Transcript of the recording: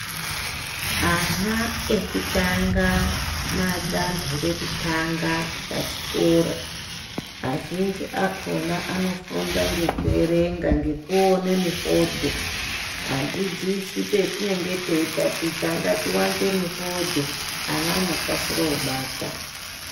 Ana echitanga danho rekutanga pachikora azhinji akhona anofunda ngekuerenga ngekuona mifodho. Adzidzisi patinenge teitaticha ngatiwanze mifodho ana anokasira kubata.